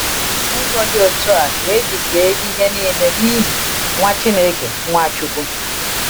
N’ụzọ dị otú a ka e ji kee ihe niile “n’ihi” Nwa Chineke, Nwáchukwu?